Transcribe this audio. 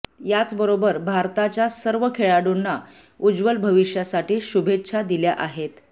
याचबरोबर भारताच्या सर्व खेळाडूंना उज्वल भविष्यासाठी शुभेच्छा दिल्या आहेत